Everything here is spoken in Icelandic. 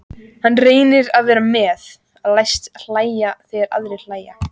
Hann reynir að vera með, læst hlæja þegar aðrir hlæja.